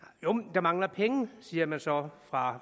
der mangler penge siger man så bare fra